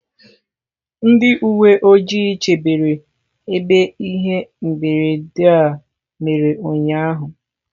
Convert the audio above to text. Ndị uwe ojii chebere ebe ihe mberede a mere ụnyahụ.